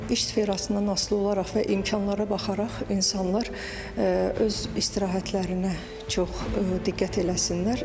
İş sferasından asılı olaraq və imkanlara baxaraq insanlar öz istirahətlərinə çox diqqət eləsinlər.